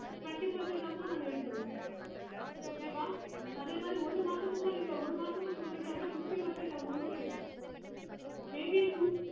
twenty percentage amount நாங்க எடுத்துருவோம் okay வா அதே மாதிரி நீங்க ஒரு மாசம் ஒரு மாசத்துக்குள்ள சொல்றீங்க அப்பிடின்னா fifty percentage amount போயிடும் maybe